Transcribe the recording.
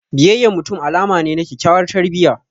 Biyayyan mutum alama ne na kyakyawar tarbiyya.